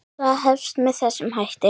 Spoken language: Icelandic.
Það hefst með þessum hætti